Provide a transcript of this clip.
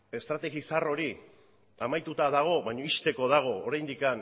estrategi zahar hori amaituta dago baina ixteko dago oraindik